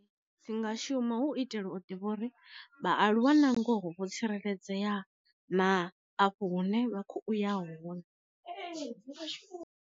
Dzi nga shuma hu itela u ḓivha uri vha aluwa na ngoho vho tsireledzea na afho hu ne vha kho u ya hone .